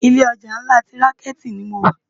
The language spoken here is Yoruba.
Ilé òjá nlá ti ránkéti ni mó wá